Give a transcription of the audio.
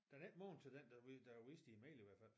Den er ikke magen til den der der er vist i æ mail i hvert fald